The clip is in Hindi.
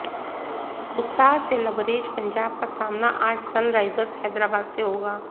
उत्साह से लबरेज पंजाब का सामना आज सनराइजर्स हैदराबाद से होगा